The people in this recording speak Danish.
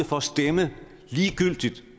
for at stemme ligegyldigt